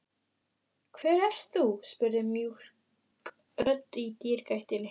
Hver ert þú? spurði mjúk rödd í dyragættinni.